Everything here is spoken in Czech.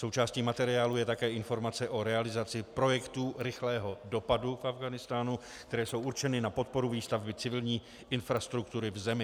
Součástí materiálu je také informace o realizaci projektů rychlého dopadu v Afghánistánu, které jsou určeny na podporu výstavby civilní infrastruktury v zemi.